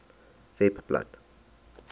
webblad